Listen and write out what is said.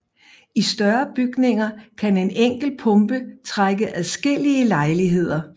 I større bygninger kan en enkelt pumpe trække adskillige lejligheder